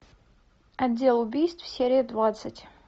отдел убийств серия двадцать